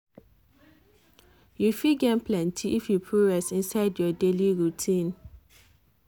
you fit gain plenty if you put rest inside your daily routine.